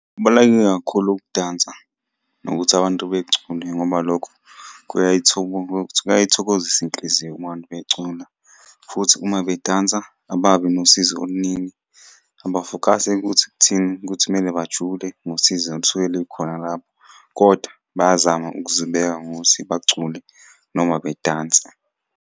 Kubaluleke kakhulu ukudansa, nokuthi abantu becule ngoba lokho kuyayithokozisa inhliziyo ukubona abantu becula, futhi uma bedansa ababi nosizi oluningi. Abafokhasi ekuthi kuthini, ukuthi kumele bajule ngosizo olusuke lukhona lapho, koda bayazama ukuzibeka ngokuthi bacule noma bedanse.